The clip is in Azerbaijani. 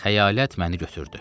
Xəyalət məni götürdü.